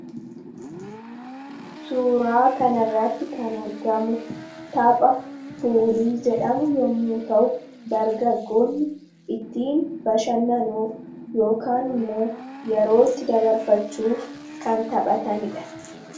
suuraa kan irratti kan argamu tapha puulii jedhamu yommuu ta'u dargaggoonni ittiin bashannanuuf yookaan immoo yerootti dabarfachuuf kan taphataniidha.